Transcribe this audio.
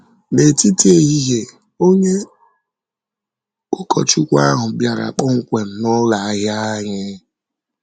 N’etiti ehihie, onye ụkọchukwu ahụ bịara kpọmkwem n’ụlọ ahịa anyị.